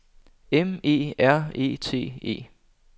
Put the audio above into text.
M E R E T E